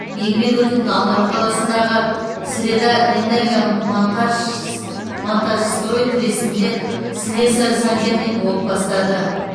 еңбек өтілін алматы қаласындағы средаэнерго монтажстрой трестінде слесарь сантехник болып бастады